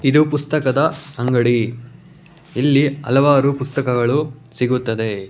ಇದು ಪುಸ್ತಕದ ಅಂಗಡಿ ಇಲ್ಲಿ ಹಲವಾರು ಪುಸ್ತಕಗಳು ಸಿಗುತ್ತದೆ.